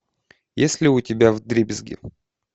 есть ли у тебя вдребезги